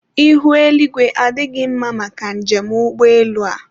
ihu eluigwe adịghị mma maka njem ụgbọelu a